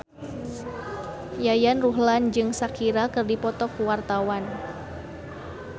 Yayan Ruhlan jeung Shakira keur dipoto ku wartawan